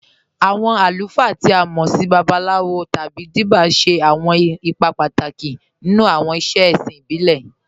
Awọn alùfáà, tí a mọ́ sì Babaláwòs tábí Díbíà, ṣẹ̀ awọn ìpà pátákì nínú awọn ìṣẹ̀ è̩ṣìn ìbílẹ̀.